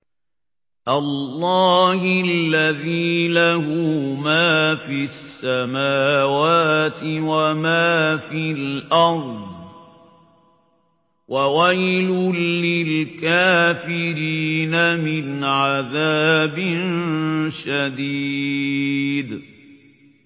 اللَّهِ الَّذِي لَهُ مَا فِي السَّمَاوَاتِ وَمَا فِي الْأَرْضِ ۗ وَوَيْلٌ لِّلْكَافِرِينَ مِنْ عَذَابٍ شَدِيدٍ